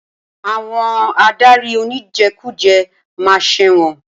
Àwọn adarí oníjẹkújẹ ma ṣẹ̀wọ̀n.